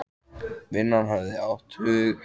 Vinnan hafði átt hug hans allan.